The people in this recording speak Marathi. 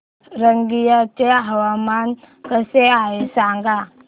रंगिया चे हवामान कसे आहे सांगा